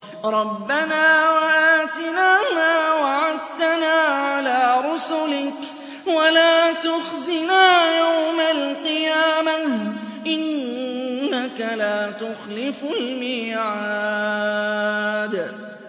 رَبَّنَا وَآتِنَا مَا وَعَدتَّنَا عَلَىٰ رُسُلِكَ وَلَا تُخْزِنَا يَوْمَ الْقِيَامَةِ ۗ إِنَّكَ لَا تُخْلِفُ الْمِيعَادَ